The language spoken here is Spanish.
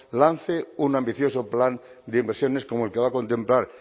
lance un ambicioso plan de inversiones como el que va a contemplar